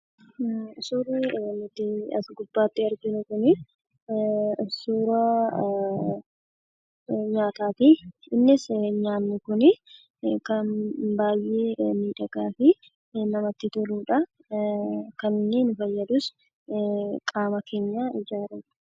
Suurri nuti as gubbaatti arginu kunii, suuraa nyaataati. Innis nyaanni kun kan baay'ee miidhagaa ta'ee fi kan namatti toluudha. Kaniinni fayyadus qaama keenya ijaaruufi.